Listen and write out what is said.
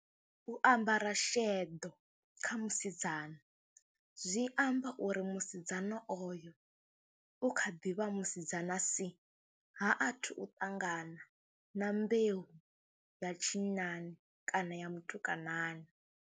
U ambara sheḓo kha musidzana zwi amba uri musidzana oyo u kha ḓi vha musidzana si, ha athu u ṱangana na mbeu ya tshinnani kana ya mutukanani.